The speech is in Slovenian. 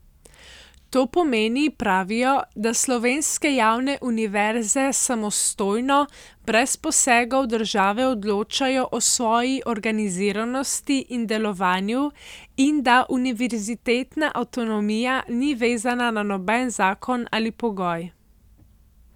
To pomeni, pravijo, da slovenske javne univerze samostojno, brez posegov države odločajo o svoji organiziranosti in delovanju in da univerzitetna avtonomija ni vezana na noben zakon ali pogoj.